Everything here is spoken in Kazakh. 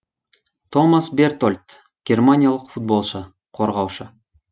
томас бертольд германиялық футболшы қорғаушы